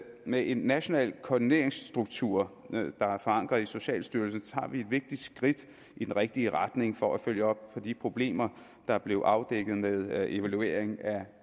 med en national koordineringsstruktur der er forankret i socialstyrelsen tager vi et vigtigt skridt i den rigtige retning for at følge op på de problemer der blev afdækket med evaluering af